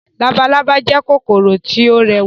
Labalábá jẹ́ kòkòrò tí ó rẹwà